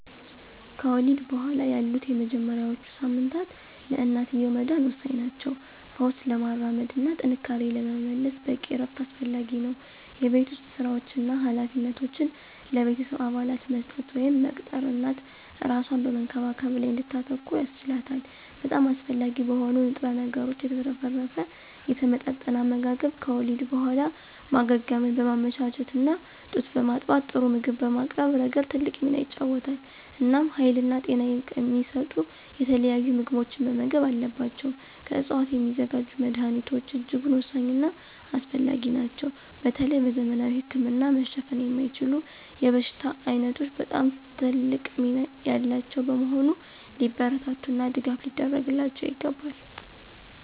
ከወሊድ በኋላ ያሉት የመጀመሪያዎቹ ሳምንታት ለእናትየው መዳን ወሳኝ ናቸው። ፈውስ ለማራመድ እና ጥንካሬን ለመመለስ በቂ እረፍት አስፈላጊ ነው። የቤት ውስጥ ሥራዎችን እና ኃላፊነቶችን ለቤተሰብ አባላት መስጠት ወይም መቅጠር እናት እራሷን በመንከባከብ ላይ እንድታተኩር ያስችላታል። በጣም አስፈላጊ በሆኑ ንጥረ ነገሮች የተትረፈረፈ የተመጣጠነ አመጋገብ ከወሊድ በኋላ ማገገምን በማመቻቸት እና ጡት በማጥባት ጥሩ ምግብ በማቅረብ ረገድ ትልቅ ሚና ይጫወታል። እናም ሀይልና ጤና የሚሰጡ የተለያዩ ምግቦችን መመገብ አለባቸው። ከዕፅዋት የሚዘጋጁ መድኀኒቶች እጅጉን ወሳኝና አስፈላጊ ናቸው በተለይ በዘመናዊ ህክምና መሸፈን የማይችሉ የበሽታ ዓይነቶች በጣም ትልቅ ሚና ያላቸው በመሆኑ ሊበረታቱና ድጋፍ ሊደረግላቸው ይገባል።